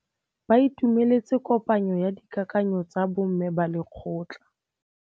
Ba itumeletse kôpanyo ya dikakanyô tsa bo mme ba lekgotla.